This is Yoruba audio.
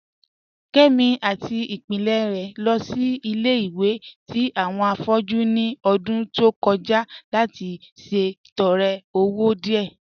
Kẹmi àti ìpílẹ̀ rẹ̀ lọ sí ilẹ̀-ìwẹ̀ tì awọn afọ̀jú ní ọ̀dún tó kọja láti ṣètọ̀rẹ̀ ọwọ̀ díẹ.